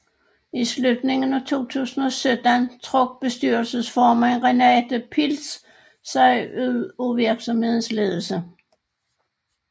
I slutningen af 2017 trak bestyrelsesformand Renate Pilz sig ud af virksomhedens ledelse